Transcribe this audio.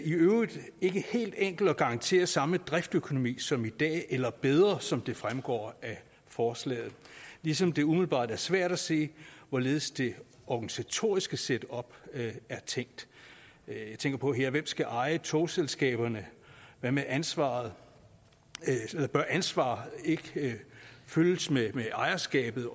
i øvrigt ikke helt enkelt at garantere samme driftsøkonomi som i dag eller bedre driftsøkonomi som det fremgår af forslaget ligesom det umiddelbart er svært at se hvorledes det organisatoriske setup er tænkt jeg tænker her på hvem skal eje togselskaberne hvad med ansvaret bør ansvaret ikke følges med ejerskabet